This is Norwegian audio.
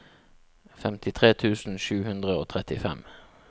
femtitre tusen sju hundre og trettifem